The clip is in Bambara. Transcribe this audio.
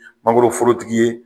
Mangoroforotigi ye